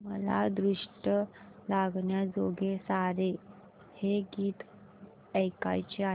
मला दृष्ट लागण्याजोगे सारे हे गीत ऐकायचे आहे